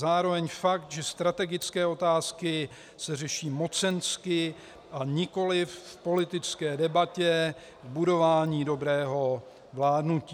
Zároveň fakt, že strategické otázky se řeší mocensky a nikoliv v politické debatě, k budování dobrého vládnutí.